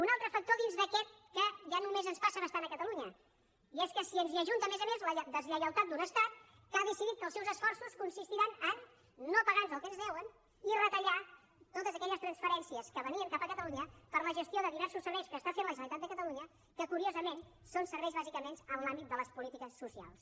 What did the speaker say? un altre factor dins d’aquest que ja només ens passa bastant a catalunya i és que se’ns hi ajunta a més a més la deslleialtat d’un estat que ha decidit que els seus esforços consistiran a no pagarnos el que ens deuen i retallar totes aquelles transferències que venien cap a catalunya per a la gestió de diversos serveis que està fent la generalitat de catalunya que curiosament són serveis bàsicament en l’àmbit de les polítiques socials